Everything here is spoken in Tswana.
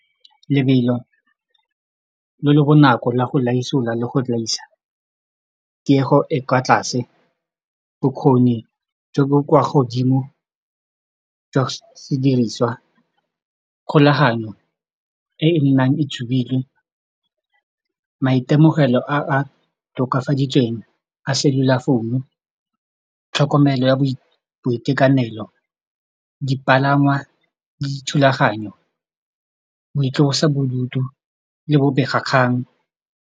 Lebelo le le bonako la go laisola le go laisa, tiego e kwa tlase bokgoni jo bo kwa godimo jwa sediriswa kgolaganyo e nnang e tshubilwe maitemogelo a a tokafaditsweng a cellular founu tlhokomelo ya boitekanelo dipalangwa dithulaganyo boitlosabodutu le bobegakgang.